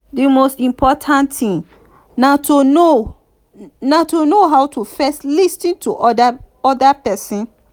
di most important thing na to know na to know how to first lis ten to di oda person